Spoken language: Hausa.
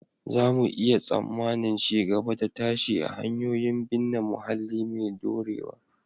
Za mu iya tsammanin ci gaba da tashi a hanyoyin binne muhalli mai dorewa